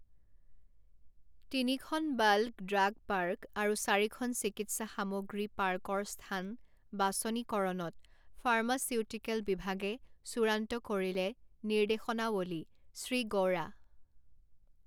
তিনিখন bulk drug park আৰু চাৰিখন চিকিৎসা সামগ্ৰী পাৰ্কৰ স্থান বাচনিকৰণত ফাৰ্মাচিউটিকেল বিভাগে চূড়ান্ত কৰিলে নিৰ্দেশনাৱলীঃ শ্ৰী গৌড়া